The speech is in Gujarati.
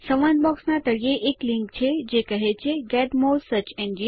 સંવાદ બોક્સ ના તળિયે એક લીંક છે જે કહે છે ગેટ મોરે સર્ચ engines